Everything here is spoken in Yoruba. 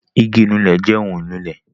igi ìnulẹ̀ jẹ ohun ìnulẹ̀